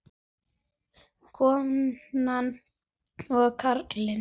Konur og karlar.